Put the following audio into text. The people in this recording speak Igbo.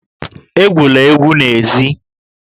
Egwula egwu n'èzí!